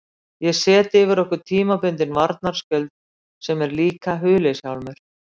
Ég set yfir okkur tímabundinn varnarskjöld sem er líka huliðshjálmur.